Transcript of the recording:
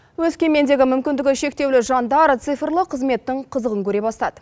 өскемендегі мүмкіндігі шектеулі жандар цифрлы қызметтің қызығын көре бастады